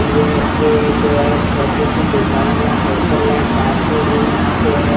ये एक छोटी सी दुकान या होटल है फास्ट फूड यहाँ पे है ।